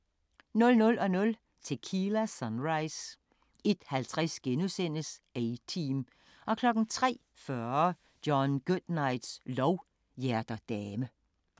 00:00: Tequila Sunrise 01:50: A-Team * 03:40: John Goodnights lov: Hjerter dame